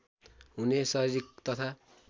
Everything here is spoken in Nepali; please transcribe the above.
हुने शारिरीक तथा